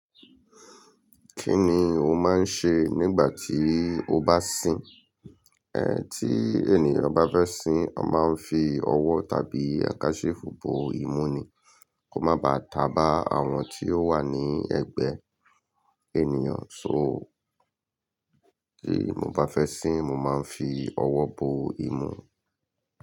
Kí ni o máa ń ṣe nígbà tí o bá sìn? Tí ènìyàn bá fẹ́ sìn, a máa ń fi ọwọ́ tàbí àkásífu bo imú ni kò má ba tà bá àwọn tí o wà ní ẹgbẹ́ ènìyàn, so tí mo bá fẹ́ sìn, mo máa ń fi ọwọ́ bo imú.